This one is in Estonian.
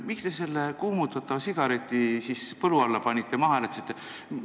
Miks te selle kuumutatava sigareti siis põlu alla panite, maha hääletasite?